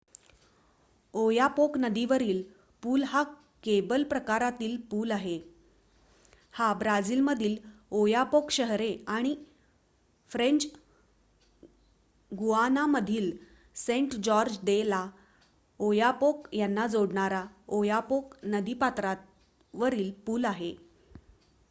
Oyapock नदीवरील पूल हा केबल प्रकारातील पूल आहे हा ब्राझीलमधील ओयापोक शहरे आणि फ्रेंच गुआनामधील सेंट-जॉर्ज दे ला'ओयापोक यांना जोडणारा ओयापोक नदीपात्रावरील पूल आहे